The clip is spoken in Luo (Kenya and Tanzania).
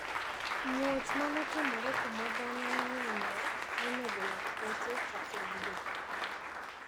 Muoch manotimore kuma dhano ng`enyie nonego lakteche kachiel gi jopuonjre.